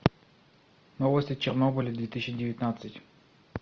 новости чернобыля две тысячи девятнадцать